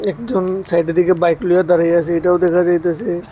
একজন সাইডের দিকে বাইক লইয়া দাঁড়াইয়া আছে এইটাও দেখা যাইতাসে।